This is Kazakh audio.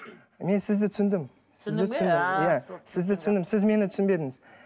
мен сізді түсіндім сізді түсіндім иә сізді түсіндім сіз мені түсінбедіңіз